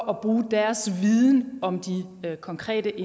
at bruge deres viden om de konkrete